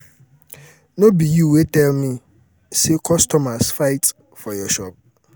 no um be um you wey dey tell me say customers fight for your shop.